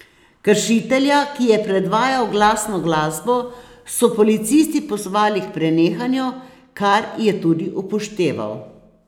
Kršitelja, ki je predvajal glasno glasbo, so policisti pozvali k prenehanju, kar je tudi upošteval.